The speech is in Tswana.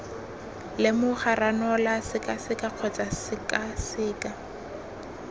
lemoga ranola sekaseka kgotsa sekaseka